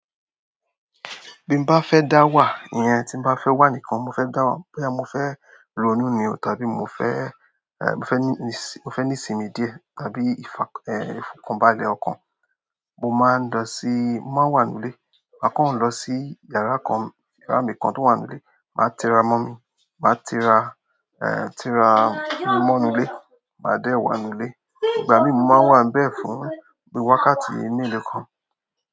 Bí mo bá fẹ́ dá wà, iye tí mo bá fẹ́ wà nìkan. Mo fẹ́ dá wà, boya mo fẹ́ ronú ni o tàbí mo fẹ́, eh, mo fẹ́ ní sin, mo fẹ́ ní sinmi díẹ̀ tàbí ìfà, eh, ifokonba lẹ ọkàn, mo máa ń lọ sí, mo máa wà nù ilé. A kàn ń lọ sí yàrá kan, yàrá mi kan tó wà nù ilé. Ma tira mo mi ma tira ehn tira mo nu ile ma de wa nu ile. Ìgbà mí mo máa wà be fún bi wákàtí melo kan.